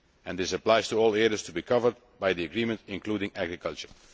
This applies to all areas to be covered by the agreement, including agriculture'.